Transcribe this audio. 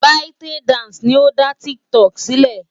ByteDance ni ó dá TikTok sílẹ̀.